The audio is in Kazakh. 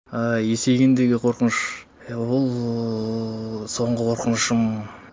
ыыы есейгендегі қорқыныш ол соңғы қорқынышым